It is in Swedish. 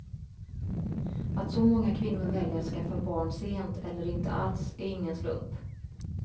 Att så många kvinnor väljer att skaffa barn sent eller inte alls är ingen slump.